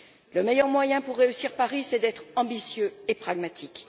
Le meilleur moyen pour réussir à Paris, c'est d'être ambitieux et pragmatique.